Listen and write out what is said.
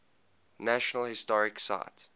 national historic site